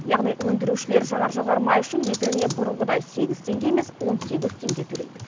яғни өндірушілер жанар жағармай үшін литріне бұрынғыдай сегіз теңге емес он сегіз теңге төлейді